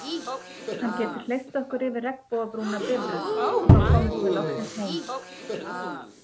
Hann getur hleypt okkur yfir regnbogabrúna Bifröst og þá komumst við loksins heim